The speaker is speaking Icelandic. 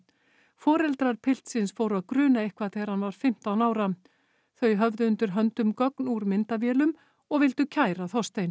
foreldra piltsins fóru að gruna eitthvað þegar hann var fimmtán ára þau höfðu undir höndum gögn úr myndavélum og vildu kæra Þorstein